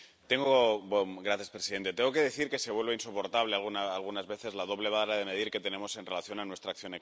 Señor presidente, tengo que decir que se vuelve insoportable algunas veces la doble vara de medir que tenemos en relación con nuestra acción exterior.